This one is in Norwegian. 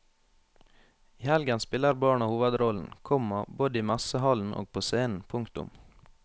I helgen spiller barna hovedrollen, komma både i messehallen og på scenen. punktum